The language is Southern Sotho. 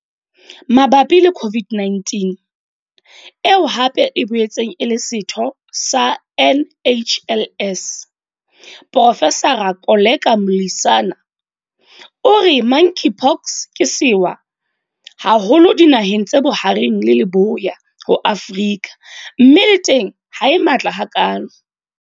Mabapi le COVID-19, eo hape e boetseng e le setho sa NHLS, Profesara Koleka Mlisana, o re Monkeypox ke sewa haholo dinaheng tse Bohareng le Leboya ho Afrika mme le teng ha e matla hakalo.